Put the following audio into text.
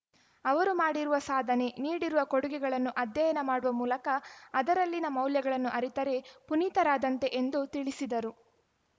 ಅವರು ಮಾಡಿರುವ ಸಾಧನೆ ನೀಡಿರುವ ಕೊಡುಗೆಗಳನ್ನು ಅಧ್ಯಯನ ಮಾಡುವ ಮೂಲಕ ಅದರಲ್ಲಿನ ಮೌಲ್ಯಗಳನ್ನು ಅರಿತರೆ ಪುನೀತರಾದಂತೆ ಎಂದು ತಿಳಿಸಿದರು